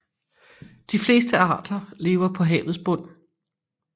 De fleste arter lever på havets bund